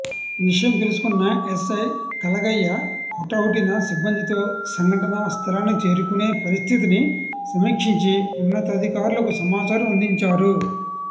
విషయం తెలుసుకున్న ఎస్ఐ కలగయ్య హుటాహుటిన సిబ్బందితో సంఘటనా స్థలానికి చేరుకునే పరిస్థితిని సమీక్షించి ఉన్నతాధికారులకు సమాచారం అందించారు